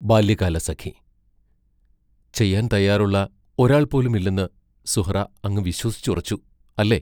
ബാല്യകാലസഖി ചെയ്യാൻ തയ്യാറുള്ള ഒരാൾ പോലും ഇല്ലെന്ന് സുഹ്റാ അങ്ങു വിശ്വസിച്ചുറച്ചു, അല്ലേ?